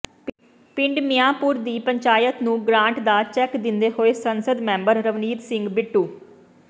ਪਿੰਡ ਮੀਆਂਪੁਰ ਦੀ ਪੰਚਾਇਤ ਨੂੰ ਗਰਾਂਟ ਦਾ ਚੈੱਕ ਦਿੰਦੇ ਹੋਏ ਸੰਸਦ ਮੈਂਬਰ ਰਵਨੀਤ ਸਿੰਘ ਬਿੱਟੂ